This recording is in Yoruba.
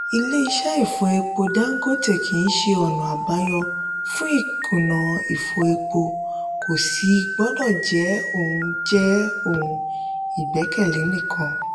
ile iṣẹ́ ìfọ epo dangote kíi ṣe ona àbáyọ fún ìkùnà ìfọ epo kò sì gbọ́dọ̀ jẹ́ òun jẹ́ òun ìgbẹ́kẹ̀lé nìkan.